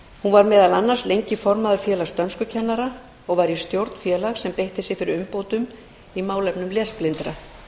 hún var meðal annars lengi formaður félags dönskukennara og var í stjórn félags sem beitti sér fyrir umbótum í málefnum lesblindra